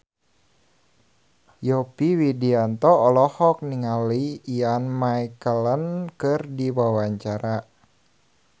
Yovie Widianto olohok ningali Ian McKellen keur diwawancara